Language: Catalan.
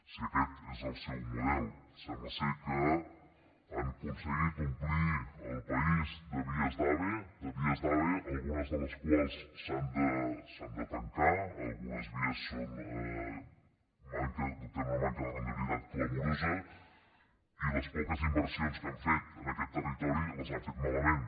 si aquest és el seu model sembla que han aconseguit omplir el país de vies d’ave de vies d’ave algunes de les quals s’han de tancar algunes vies tenen una manca de rendibilitat clamorosa i les poques inversions que han fet en aquest territori les han fet malament